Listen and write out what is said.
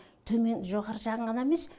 төмен жоғары жағын ғана емес